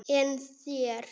En þér?